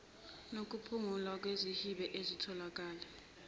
nokuphungulwa kwezihibe ezitholakele